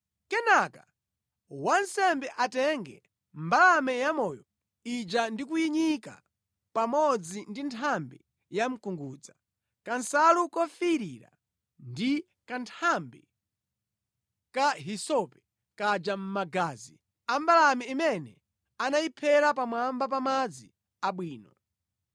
Kenaka wansembe atenge mbalame yamoyo ija ndi kuyinyika pamodzi ndi nthambi yamkungudza, kansalu kofiirira ndi kanthambi ka hisope kaja mʼmagazi ambalame imene anayiphera pamwamba pa madzi abwino.